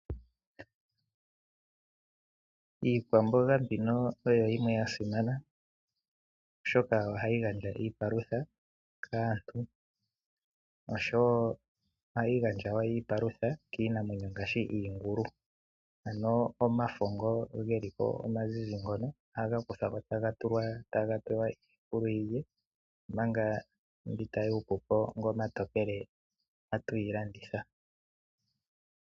Iikwamboga mbino oyo yimwe yasimana, oshoka ohayi gandja iipalutha kaantu, oshowo ohayi gandja wo iipalutha kiinamwenyo ngaashi iingulu. Ano omafo ngo geli ko omazizi ngono aga kuthwa ko tagatulwa tagapewa iingulu yilwe manga mbi tayuupu po ngo omatokele ohatu ga landitha.